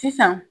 Sisan